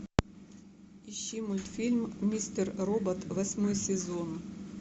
ищи мультфильм мистер робот восьмой сезон